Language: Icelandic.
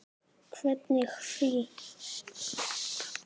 Hvernig frí.